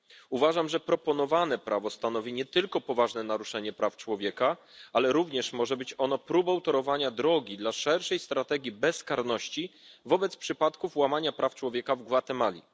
Uważam, że proponowane prawo stanowi nie tylko poważne naruszenie praw człowieka, ale również może być próbą torowania drogi dla szerszej strategii bezkarności wobec przypadków łamania praw człowieka w Gwatemali.